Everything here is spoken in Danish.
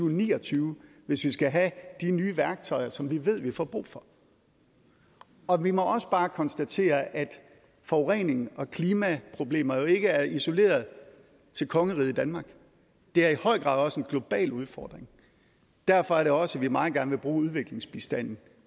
og ni og tyve hvis vi skal have de nye værktøjer som vi ved vi får brug for og vi må også bare konstatere at forurening og klimaproblemer jo ikke er isoleret til kongeriget danmark det er i høj grad også en global udfordring derfor er det også at vi meget gerne vil bruge udviklingsbistanden